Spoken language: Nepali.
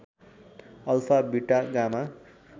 alpha beta gamma